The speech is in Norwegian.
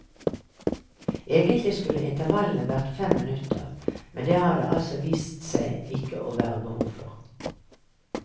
Egentlig skulle intervallene vært fem minutter, men det har det altså vist seg ikke å være behov for.